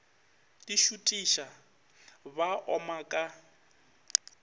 di šutiša ba oma ka